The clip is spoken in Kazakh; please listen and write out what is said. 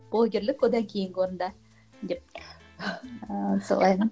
блогерлік одан кейінгі орында деп